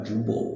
Ji bɔ